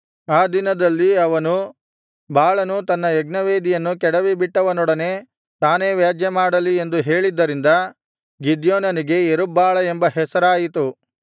ಆ ದಿನದಲ್ಲಿ ಅವನು ಬಾಳನು ತನ್ನ ಯಜ್ಞವೇದಿಯನ್ನು ಕೆಡವಿಬಿಟ್ಟವನೊಡನೆ ತಾನೇ ವ್ಯಾಜ್ಯಮಾಡಲಿ ಎಂದು ಹೇಳಿದ್ದರಿಂದ ಗಿದ್ಯೋನನಿಗೆ ಯೆರುಬ್ಬಾಳ ಎಂಬ ಹೆಸರಾಯಿತು